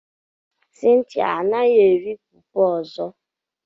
Cynthia anaghi eri fufu ozo.